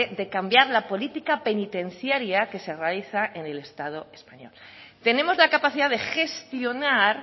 de cambiar la política penitenciaria que se realiza en el estado español tenemos la capacidad de gestionar